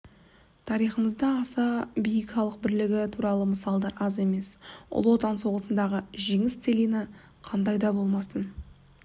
тарихымызда аса биік халық бірлігі туралы мысалдар аз емес ұлы отан соғысындағы жеңіс целина қандайда болмасын